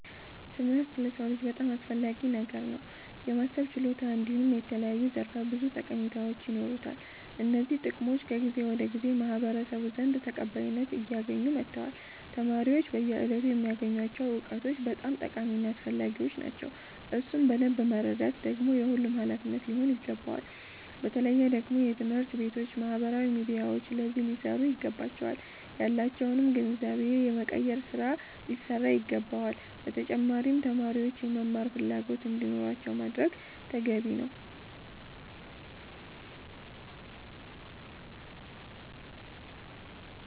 ትምህርት ለሰዉ ልጅ በጣም አስፈላጊ ነገር ነዉ። የማሰብ ችሎታ እንዲሁም የተለያዩ ዘርፈ ብዙ ጠቀሜታዎች ይኖሩታል። እነዚህ ጥቅሞች ከጊዜ ወደ ጊዜ በማህበረሰቡ ዘንድ ተቀባይነት አያገኙ መተዋል። ተማሪዎች በየእለቱ የሚያገኙቸዉ እዉቀቶች በጣም ጠቃሚ እና አስፈላጊዎች ናቸዉ። እሱን በደምብ መረዳት ደግሞ የሁሉም ሃላፊነት ሊሆን ይገባል። በተለየ ደግሞ ትምህርት ቤቶች ባህበራዊ ሚዲያዎች አዚህ ሊሰሩ ይገባቸዋል። ያላቸዉንም ግንዛቤ የመቀየር ስራ ሊሰራ ይገባዋል። በተጫማሪም ተማሪዎች የመማር ፈላጎት እንዲኖራቸዉ ማድረግ ተገቢ ነዉ።